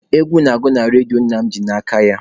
Egwu na-agụ na redio nna m ji n'aka ya.